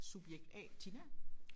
Subjekt A Tina